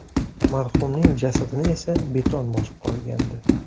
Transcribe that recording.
Marhumning jasadini esa beton bosib qolgandi.